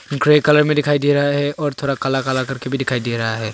Grey colour में दिखाई दे रहा है और थोरा काला काला करके भी दिखाई दे रहा है।